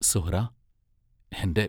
Suhra ഹെന്റെ